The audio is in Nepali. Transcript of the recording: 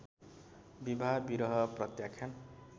विवाह विरह प्रत्याख्यान